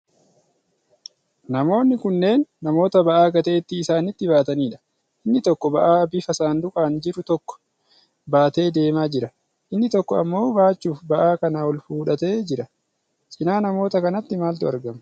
Namoonni kunneen namoota ba'aa gateetti isaanitti baataniidha. Inni tokko ba'aa bifa saanduqaan jiru tokko baatee adeemaa jira. Inni tokko ammoo baachuuf ba'aa kana ol fudhatee jira. Cinaa namoota kanaatti maaltu argama?